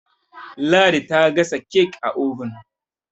ladi ta gasa kek a obin